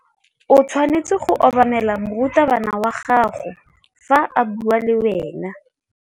O tshwanetse go obamela morutabana wa gago fa a bua le wena.